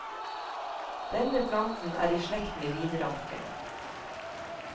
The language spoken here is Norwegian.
Denne planten er i slekt med vinranken.